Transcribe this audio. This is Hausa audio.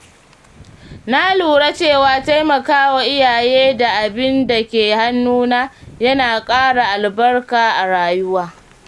Na lura cewa taimakawa iyaye da abin da ke hannuna yana ƙara albarka a rayuwa.